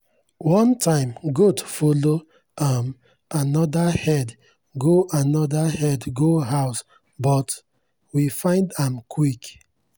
one time goat follow um another herd go another herd go house but we find am quick.